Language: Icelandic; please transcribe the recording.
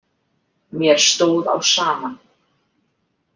Mér stóð á sama.